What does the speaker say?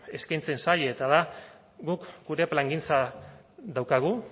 eskaintzen zaie eta da guk gure plangintza daukagu